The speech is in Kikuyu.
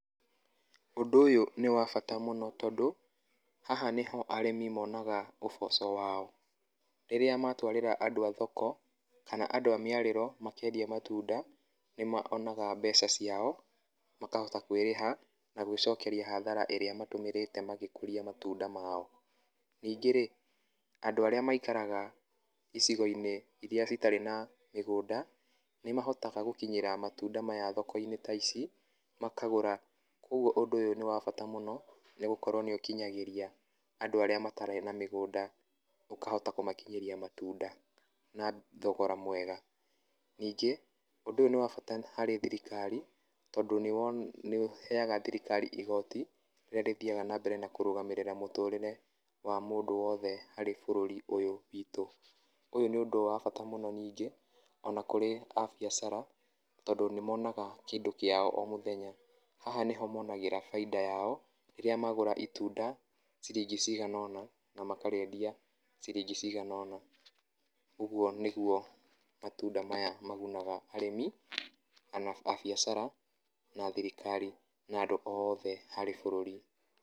Ũndũ ũyũ nĩ wabata mũno tondũ haha nĩho arĩmi mũnoga ũboco wao rĩrĩa matwarĩra andũ a thoko kana andũ amĩarĩro makĩendia matunda, nĩ monaga mbeca ciao makahota kwĩrĩha na gwĩcokeria hathara ĩrĩa matũmĩrĩte magĩkũria matunda mao, ningĩ rĩ andũ maikaraga icigo-inĩ iria itarĩ na mĩgũnda nĩ mahotaga gũkinyĩra matunda maya thoko-inĩ ta ici makagũra kwoguo ũndũ ũyũ nĩ wabata mũno nĩ gũkorwo nĩ ũkinyagĩria andũ arĩa matarĩ na mĩgũnda, ũkahota kũmakinyĩria matunda na thogora mwega, ningĩ ũndũ ũyũ nĩ bata mũno harĩ thirikari tondũ nĩ ũheaga thirikari igoti, rĩrĩa rĩthiaga na mbere kũrũgamĩrĩra mũtũtĩre wa mũndũ wothe harĩ bũrũri ũyũ witũ. Ũyũ nĩ ũndũ wa bata mũno ningĩ ona kũrĩ a biacara tondũ nĩ monaga kĩndũ kĩao o mũthenya, haha nĩho monagĩra biata yao rĩrĩa magũra itunda ciringi ciganona na makarĩendia ciringi ciganona, ũguo nĩguo matunda maya maguna arĩmi kana a biacara na thirikari na andũ othe harĩ bũrũri.